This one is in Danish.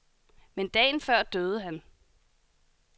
Men dagen før døde han.